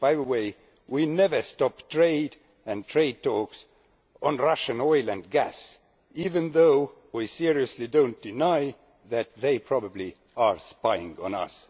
By the way, we never stopped trade and trade talks on Russian oil and gas, even though we seriously do not deny that they probably are spying on us.